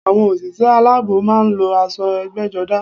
Àwọn òṣìṣẹ́ aláàbò máa ń lo aṣọ egbéjodá